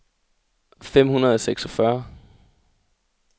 fem hundrede og seksogfyrre